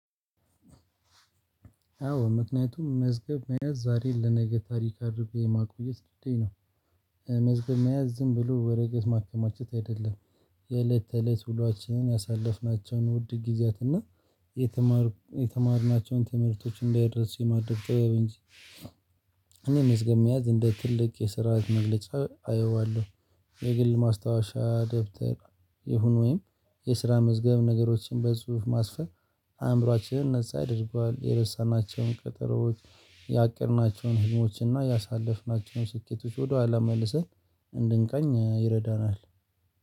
አዎ ምክንያቱም መዝገብ መያዝ ዛሬ ለነገ ታሪክ አድርጌ የማቆየት ልምዴ ነው። መዝገብ መያዝ ዝም ብሎ ወረቀት ማከማቸት አይደለም። የእለት ተእለት ውሏችንን ያሳለፍናቸውን ውድ ጊዜያት እና የተማርናቸውን ትምህርቶች እንዳይረሱ የማደርገው ጥበብ እንጂ። መዝገብ መያዝ እንደ ትልቅ የስራ መግለጫ አየዋለሁ። የግል ማስታወሻ ደብተር ይሁን ወይም የስራ መዝገብ ነገሮችን በጽሁፍ ማስፈር። አእምሮአችንን ነፃ ያድርጓል የረሳናቸውን ቀጠሮዎች ያቀድናቸውን ህልሞች እና ያሳለፍናቸውን ስኬቶች ወደኋላ መልሰን እንድንቃኝ ይረዳናል።